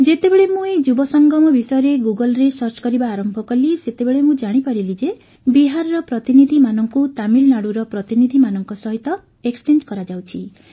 ଯେତେବେଳେ ମୁଁ ଏହି ଯୁବସଙ୍ଗମ ବିଷୟରେ ଗୁଗଲରେ ସର୍ଚ୍ଚ କରିବା ଆରମ୍ଭ କଲି ସେତେବେଳେ ମୁଁ ଜାଣିପାରିଲି ଯେ ବିହାରର ପ୍ରତିନିଧିମାନଙ୍କୁ ତାମିଲନାଡ଼ୁର ପ୍ରତିନିଧିମାନଙ୍କ ସହିତ ଏକ୍ସଚେଞ୍ଜ୍ କରାଯାଉଛି